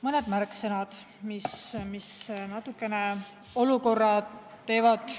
Mõned märksõnad, mis natukene murelikuks teevad.